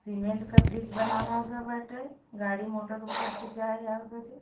Cement का bridge बनावा गईल बाटे। गाड़ी मोटर ऊपर से जाए आवा बदे --